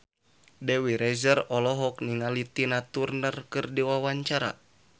Dewi Rezer olohok ningali Tina Turner keur diwawancara